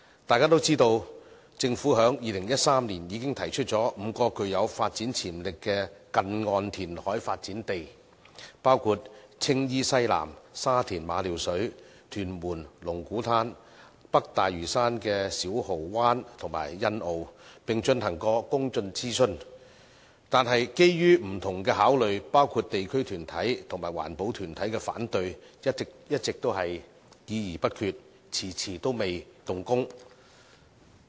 大家都知道，政府在2013年已經提出5幅具有發展潛力的近岸填海發展地，包括青衣西南、沙田馬料水、屯門龍鼓灘、北大嶼山的小蠔灣和欣澳，並曾進行公眾諮詢，但基於不同的考慮，包括地區團體和環保團體的反對，一直只是議而不決，遲遲都未動工。